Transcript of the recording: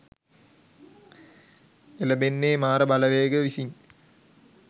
එළඹෙන්නේ මාර බලවේග විසින්